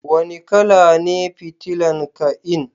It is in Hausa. Wani kala ne fitilan kai'n?